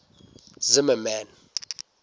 zimmermann